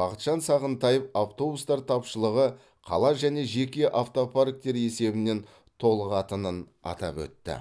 бақытжан сағынтаев автобустар тапшылығы қала және жеке автопарктер есебінен толығатынын атап өтті